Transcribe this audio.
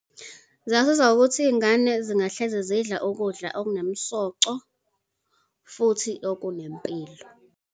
Zingasiza ukuthi iy'ngane zingahleze zidla ukudla okunomsoco, futhi okunempilo.